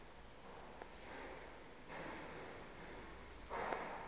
umfana baye bee